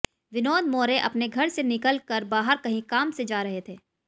विनोद मोरे अपने घर से निकल कर बाहर कही काम से जारहे थे